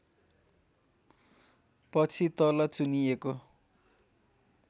पछि तल चुनिएको